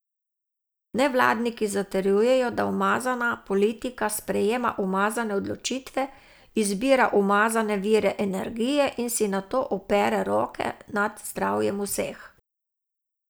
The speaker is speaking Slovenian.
Nevladniki zatrjujejo, da umazana politika sprejema umazane odločitve, izbira umazane vire energije in si nato opere roke nad zdravjem vseh.